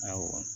Awɔ